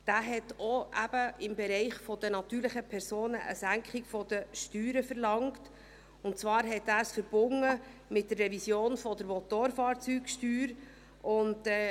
Er hat ebenfalls im Bereich der natürlichen Personen eine Senkung der Steuern verlangt, und er hat es mit der Revision der Motorfahrzeugsteuer verbunden.